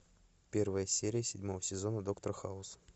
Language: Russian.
первая серия седьмого сезона доктор хаус